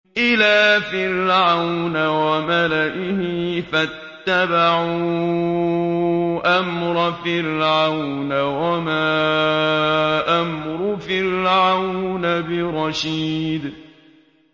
إِلَىٰ فِرْعَوْنَ وَمَلَئِهِ فَاتَّبَعُوا أَمْرَ فِرْعَوْنَ ۖ وَمَا أَمْرُ فِرْعَوْنَ بِرَشِيدٍ